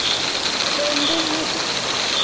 എന്ത് museum